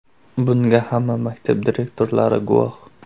Bunga hamma maktab direktorlari guvoh.